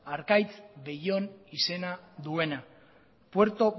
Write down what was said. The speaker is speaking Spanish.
arkaitz bellón izena duena puerto